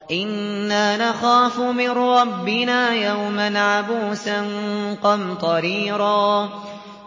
إِنَّا نَخَافُ مِن رَّبِّنَا يَوْمًا عَبُوسًا قَمْطَرِيرًا